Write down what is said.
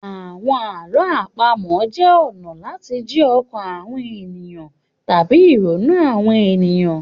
Àwọn àlọ́ àpamọ̀ jẹ́ ọ̀nà láti jí ọkàn àwọn ènìyàn tàbí ìrònú àwọn ènìyàn.